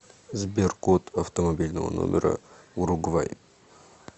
сбер код автомобильного номера уругвай